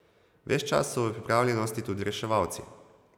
Ves čas so v pripravljenosti tudi reševalci.